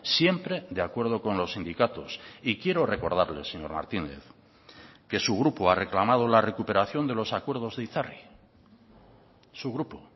siempre de acuerdo con los sindicatos y quiero recordarle señor martínez que su grupo ha reclamado la recuperación de los acuerdos de itzarri su grupo